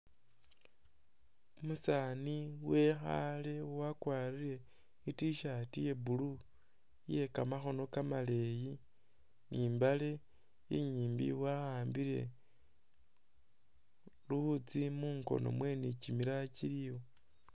Umusaani wekhaale wakwarire I'T-shirt ya blue iye kamakhono kamaleeyi ni i'mbaale inyimbi wa'ambile luwutsi mungono mwe ni kimilala kiliwo.